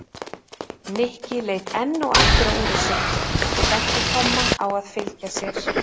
Nikki leit enn og aftur á úrið sitt og benti Tomma á að fylgja sér.